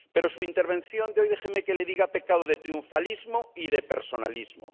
Pero su intervención de hoy —déjeme que le diga— ha pecado de triunfalismo y de personalismo.